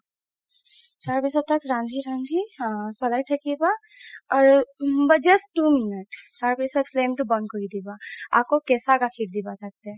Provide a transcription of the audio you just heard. তাৰ পাছত তাক ৰান্ধি ৰান্ধি আ চলাই থাকিবা আৰু just two minute তাৰ পিছত flame তো বন্ধ কৰি দিবা আকৌ কেচা গাখিৰৰ দিবা তাতে